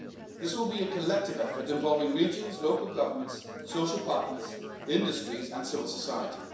This will be a collective effort involving regions, local governments, social partners, industries and civil society.